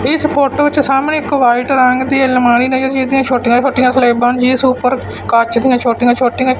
ਇਸ ਫੋਟੋ ਵਿੱਚ ਸਾਹਮਣੇ ਇੱਕ ਵਾਈਟ ਰੰਗ ਦੀ ਅਲਮਾਰੀ ਲੱਗੀ ਹੋਈ ਛੋਟੀਆਂ ਛੋਟੀਆਂ ਸਲੇਬਾਂ ਜੀ ਇਸ ਉਪਰ ਕੱਚ ਦੀਆਂ ਛੋਟੀਆਂ ਛੋਟੀ ਆਂ--